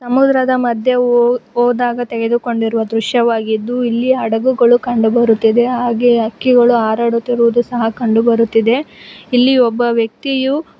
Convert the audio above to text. ಮಧ್ಯೆ ಹೊ ಹೋದಾಗ ತೆಗೆದುಕೊಂಡಿರುವ ದೃಶ್ಯವಾಗಿದ್ದು ಇಲ್ಲಿ ಹಡಗುಗಳು ಕಂಡುಬರುತ್ತಿದೆ ಹಾಗೆ ಹಕ್ಕಿಗಳು ಹಾರಾಡುತ್ತಿರುವುದು ಸಹ ಕಂಡು ಬರುತ್ತಿದೆ ಇಲ್ಲಿ ಒಬ್ಬ ವ್ಯಕ್ತಿಯು--